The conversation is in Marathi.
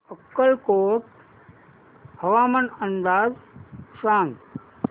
अक्कलकोट हवामान अंदाज सांग